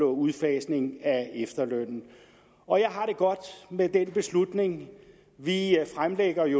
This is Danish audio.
udfasning af efterlønnen og jeg har det godt med den beslutning vi fremlægger i